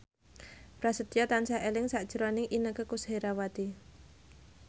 Prasetyo tansah eling sakjroning Inneke Koesherawati